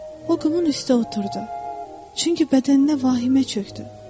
O qumun üstə oturdu, çünki bədəninə vahimə çökdü.